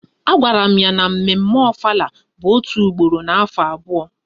A gwara m ya na mme mme Ofala n'obodo m bụ otu ugboro n'afọ abụọ